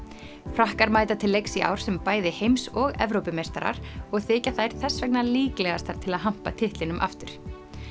frakkar mæta til leiks í ár sem bæði heims og Evrópumeistarar og þykja þær þess vegna líklegastar til að hampa titlinum aftur